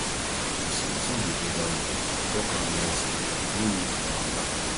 if sometin dey bother you tok am nicely no need for anger